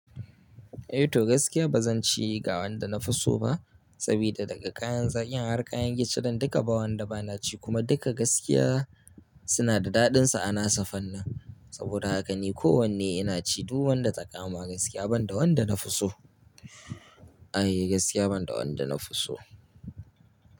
Eh, to gaskiya ba zan ci gawan da na fi so ba, sabida daga kayan zakin, har kayan gishirin, dukka ba wanda ba na ci, kuma dukka gaskiya suna da daɗinsu ana su fannin. Saboda haka ni kowanne ina ci, duk wanda ta kama gaskiya ban da wanda na fi so. Ai gaskiya ban da wanda na fi so.